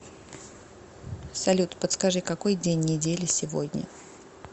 салют подскажи какой день недели сегодня